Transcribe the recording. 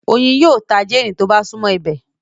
Oyin yíò tá Jane tó bá sunmọ ibẹ